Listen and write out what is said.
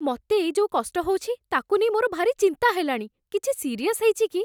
ମତେ ଏଇ ଯୋଉ କଷ୍ଟ ହଉଛି, ତା'କୁ ନେଇ ମୋର ଭାରି ଚିନ୍ତା ହେଲାଣି । କିଛି ସିରିୟସ୍ ହେଇଛି କି?